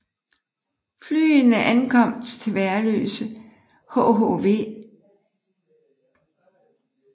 Flyene ankom til Værløse i hhv